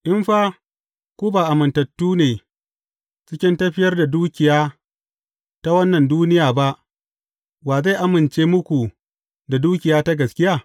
In fa ku ba amintattu ne cikin tafiyar da dukiya ta wannan duniya ba, wa zai amince muku da dukiya ta gaskiya?